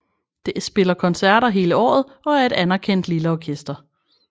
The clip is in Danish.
Det spiller koncerter hele året og er et anerkendt lille orkester